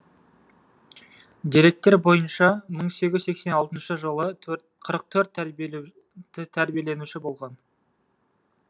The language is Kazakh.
деректер бойынша мың сегіз жүз сексен алтыншы жылы қырық төрт тәрбиеленуші болған